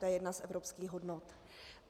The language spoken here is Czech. To je jedna z evropských hodnot.